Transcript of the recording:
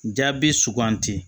Jaabi suganti